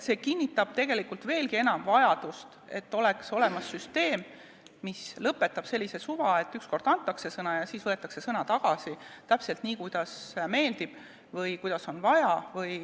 See kinnitab veelgi enam vajadust, et oleks olemas süsteem, mis lõpetaks sellise suva, et ükskord antakse sõna ja siis võetakse sõna tagasi, täpselt nii, kuidas meeldib või kuidas on vaja.